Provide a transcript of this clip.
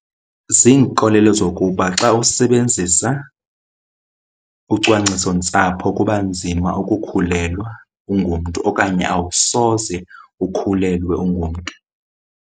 Ziinkolelo zokuba xa usebenzisa ucwangcisontsapho kuba nzima ukukhulelwa ungumntu okanye awusoze ukhulelwe ungumntu.